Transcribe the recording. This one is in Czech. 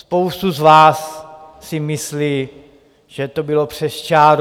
Spousta z vás si myslí, že to bylo přes čáru.